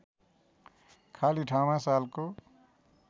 खाली ठाउँमा सालको